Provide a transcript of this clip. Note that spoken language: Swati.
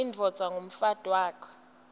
indvodza umfati wakho